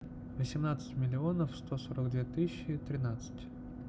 восемнадцать миллионов сто сорок две тысячи тринадцать